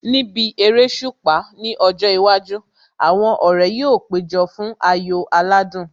Níbi eréṣùpá ní ọjọ́ iwájú, àwọn ọ̀rẹ́ yóò péjọ fún ayò aládùn